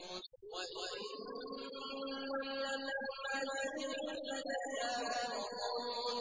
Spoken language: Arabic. وَإِن كُلٌّ لَّمَّا جَمِيعٌ لَّدَيْنَا مُحْضَرُونَ